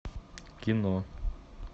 кино